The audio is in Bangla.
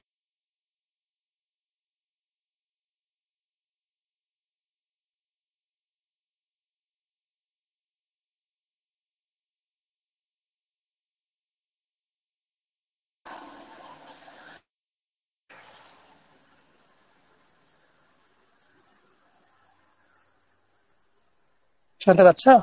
শুনতে পাচ্ছ?